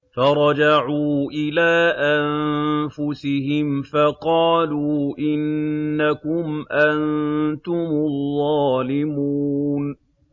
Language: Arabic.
فَرَجَعُوا إِلَىٰ أَنفُسِهِمْ فَقَالُوا إِنَّكُمْ أَنتُمُ الظَّالِمُونَ